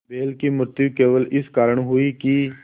बैल की मृत्यु केवल इस कारण हुई कि